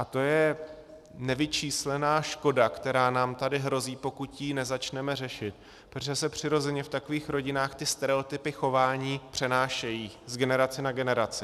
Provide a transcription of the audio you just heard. A to je nevyčíslená škoda, která nám tady hrozí, pokud ji nezačneme řešit, protože se přirozeně v takových rodinách ty stereotypy chování přenášejí z generace na generaci.